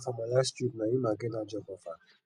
na for my last trip na im i get dat job offer